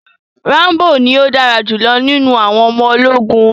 Rambo ní o dára julọ nínú àwọn ọmọ ológun.